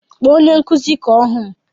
Kpọọ onye nkụzi ka ọ hụ m!